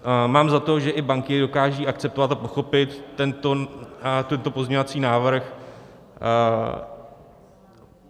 Mám za to, že i banky dokážou akceptovat a pochopit tento pozměňovací návrh.